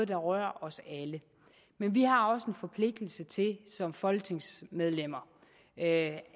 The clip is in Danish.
berører os alle men vi har også en forpligtelse til som folketingsmedlemmer at